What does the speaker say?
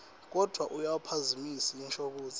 kodvwa awuyiphazamisi inshokutsi